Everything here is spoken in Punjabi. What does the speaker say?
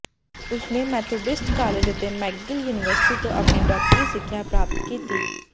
ਉਸਨੇ ਮੈਥੋਡਿਸਟ ਕਾਲਜ ਅਤੇ ਮੈਕਗਿਲ ਯੂਨੀਵਰਸਿਟੀ ਤੋਂ ਆਪਣੀ ਡਾਕਟਰੀ ਸਿੱਖਿਆ ਪ੍ਰਾਪਤ ਕੀਤੀ